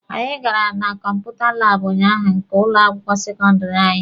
Anyị gara na kọmputa laabụ ụnyaahụ nke ụlọ akwụkwọ sekọndịrị anyị.